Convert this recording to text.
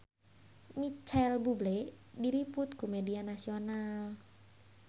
Micheal Bubble diliput ku media nasional